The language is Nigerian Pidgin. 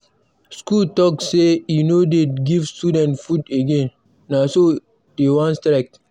School talk say e no dey give students food again, na so dey wan strike.